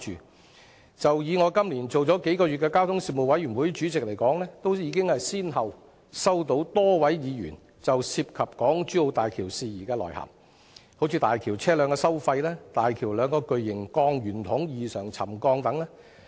我在這個會期擔任交通事務委員會主席只有數個月，便已先後收到多位議員就港珠澳大橋事宜來函，包括大橋的車輛通行收費、大橋兩個巨型鋼圓筒異常沉降等。